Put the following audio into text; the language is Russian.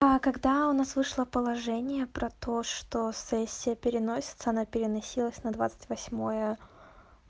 а когда у нас вышло положение про то что сессия переносится она переносилась на двадцать восьмое